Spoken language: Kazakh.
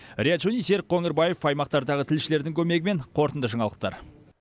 риат шони серік қоңырбаев аймақтардағы тілшілердің көмегімен қорытынды жаңалықтар